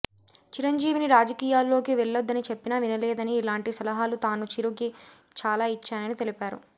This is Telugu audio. చిరంజీవిని రాజకీయాల్లోకి వెళ్లద్దని చెప్పినా వినలేదని ఇలాంటి సలహాలు తాను చిరుకి చాలా ఇచ్చానని తెలిపారు